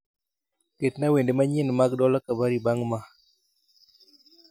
Ketnaa wende manyien mag dola kabari bang' ma